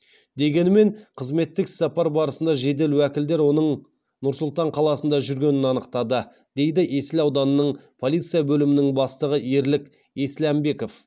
дегенімен қызметтік іссапар барысында жедел уәкілдер оның нұр сұлтан қаласында жүргенін анықтады дейді есіл ауданының полиция бөлімінің бастығы ерлік есләмбеков